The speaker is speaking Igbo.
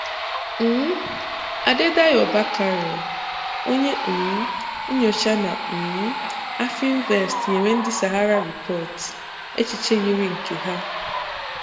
um Adedayo Bakare, onye um nnyocha na um Afrinvest nyere ndị Sahara Report echiche yiri nke ha.